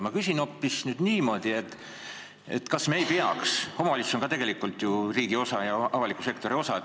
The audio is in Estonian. Omavalitsus on ka tegelikult riigi ja avaliku sektori osa.